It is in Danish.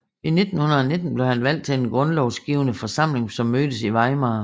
I 1919 blev han valgt til den grundlovsgivende forsamling som mødtes i Weimar